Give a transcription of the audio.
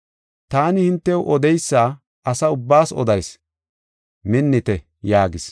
Taani hintew odeysa asa ubbaas odayis; minnite” yaagis.